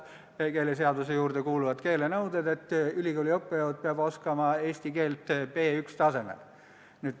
Keeleseaduse juurde kuuluvad keelenõuded ütlevad, et ülikooli õppejõud peab oskama eesti keelt B1-tasemel.